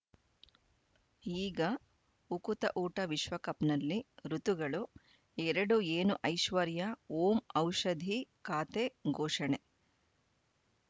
ಈಗ ಉಕುತ ಊಟ ವಿಶ್ವಕಪ್‌ನಲ್ಲಿ ಋತುಗಳು ಎರಡು ಏನು ಐಶ್ವರ್ಯಾ ಓಂ ಔಷಧಿ ಖಾತೆ ಘೋಷಣೆ